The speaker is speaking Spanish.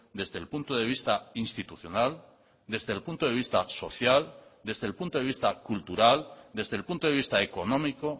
desde el punto de vista institucional desde el punto de vista social desde el punto de vista cultural desde el punto de vista económico